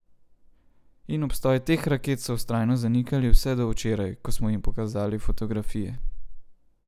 In obstoj teh raket so vztrajno zanikali vse do včeraj, ko smo jim pokazali fotografije.